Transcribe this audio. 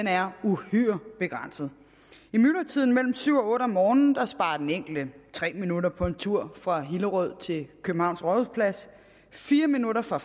er uhyre begrænset i myldretiden mellem klokken syv og otte om morgenen sparer den enkelte tre minutter på en tur fra hillerød til københavns rådhusplads fire minutter fra